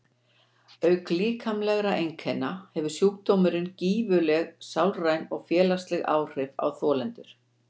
Auk líkamlegra einkenna hefur sjúkdómurinn gífurleg sálræn og félagsleg áhrif á þolendur.